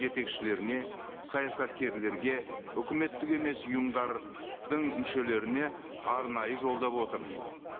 жетекшілеріне саясаткерлерге үкіметтік емес ұйымдардың мүшелеріне арнайы жолдап отырмын